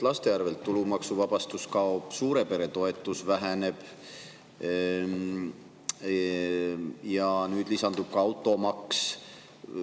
Laste pealt tulumaksuvabastus kaob, suure pere toetus väheneb ja nüüd lisandub ka automaks.